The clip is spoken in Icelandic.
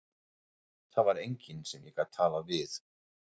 Það var enginn sem ég gat talað við.